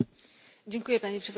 Panie Przewodniczący!